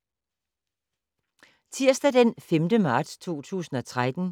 Tirsdag d. 5. marts 2013